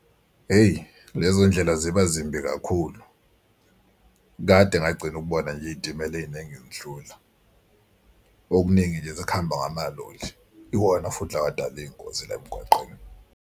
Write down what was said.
Hheyi lezo ndlela ziba zimbi kakhulu. Kade ngagcina ukubona nje iy'timela ey'ningi zidlula. Okuningi nje sekuhamba ngamaloli iwona futhi lawa adala iy'ngozi la emgwaqeni.